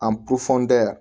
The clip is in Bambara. An yan